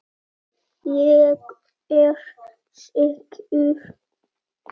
Ég er sekur.